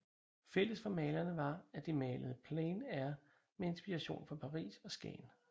Fælles for malerne var at de malede plein air med inspiration fra Paris og Skagen